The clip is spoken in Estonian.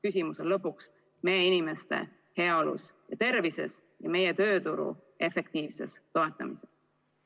Küsimus on lõpuks meie inimeste heaolus ja tervises ning meie tööturu efektiivses toetamises.